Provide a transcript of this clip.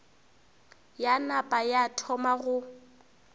ya napa ya thoma go